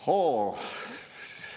Hoo!